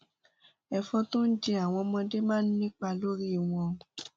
ẹfọn tó jẹ àwọn ọmọdé máa ń nípa lórí wọn